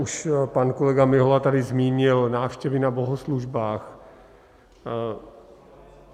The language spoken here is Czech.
Už pan kolega Mihola tady zmínil návštěvy na bohoslužbách.